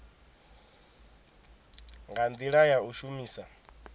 nga ndila ya u shumisa